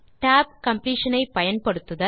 tab completion ஐ பயன்படுத்துதல்